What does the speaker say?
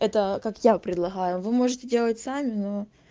это как я предлагаю вы можете делать сами но